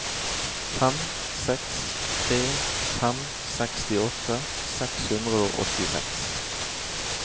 fem seks tre fem sekstiåtte seks hundre og åttiseks